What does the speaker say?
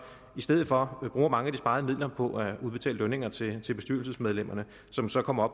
i stedet for bruger mange af de sparede midler på at udbetale lønninger til til bestyrelsesmedlemmerne som så kommer